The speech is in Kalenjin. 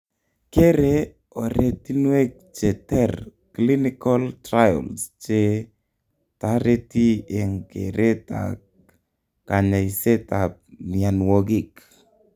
kere oretinwek che ter clinical trials che tareti eng keret ak kanyaiseet ab mianwogik